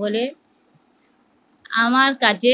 বলে আমার কাছে